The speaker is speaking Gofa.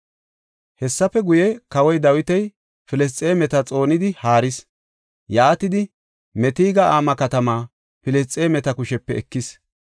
Hessafe guye, kawoy Dawiti Filisxeemeta xoonidi haaris; yaatidi Meteg-Ama katamaa Filisxeemeta kushepe ekis.